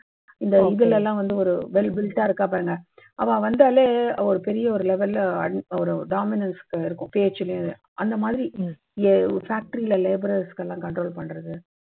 இந்த இதுல்லாம் ஒரு well built டா இருக்கா பாருங்க. அவா வந்தாலே அவா பெரிய ஒரு level dominance இருக்கும் பேச்சுலேயே அந்த மாதிரி factory ல laborers செல்லாம் control பண்றது